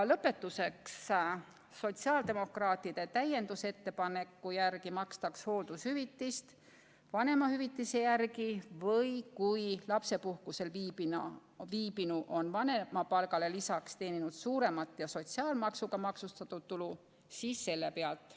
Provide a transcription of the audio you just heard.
Lõpetuseks: sotsiaaldemokraatide täiendusettepaneku järgi makstaks hooldushüvitist vanemahüvitise järgi või kui lapsepuhkusel viibinu on vanemapalgale lisaks teeninud suuremat ja sotsiaalmaksuga maksustatud tulu, siis selle järgi.